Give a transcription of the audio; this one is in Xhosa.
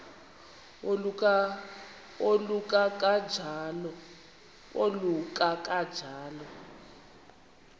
oluka ka njl